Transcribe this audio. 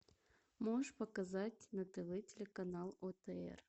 можешь показать на тв телеканал отр